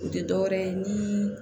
U tɛ dɔ wɛrɛ ye ni